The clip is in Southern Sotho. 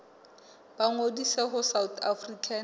ba ngodise ho south african